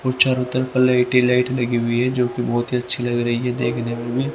और चारों तरफ लाइट ही लाइट लगी हुई है जो कि बहुत ही अच्छी लग रही है देखने में भी--